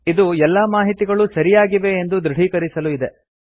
ಇದು ಎಲ್ಲಾ ಮಾಹಿತಿಗಳೂ ಸರಿಯಾಗಿವೆ ಎಂದು ದೃಢೀಕರಿಸಲು ಇದೆ